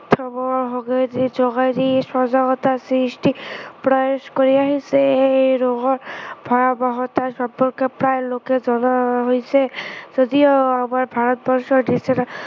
সৱৰে হকে যি সজাগতা সৃষ্টিৰ প্ৰয়াস কৰি আহিছে, এই ৰোগৰ ভয়াৱহতাৰ সম্পৰ্কে প্ৰায় লোকে জনা হৈছে, যদিও আমাৰ ভাৰতবৰ্ষৰ নিচিনা